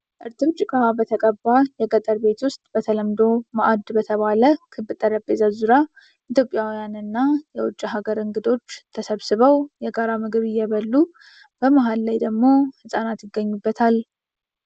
እርጥብ ጭቃ በተቀባ የገጠር ቤት ውስጥ፣ በተለምዶ ማዕድ በተባለ ክብ ጠረጴዛ ዙሪያ፣ ኢትዮጵያውያንና የውጭ ሀገር እንግዶች ተሰብስበው የጋራ ምግብ እየበሉ። በመሀል ደግሞ ሕፃናት ይገኙበታል።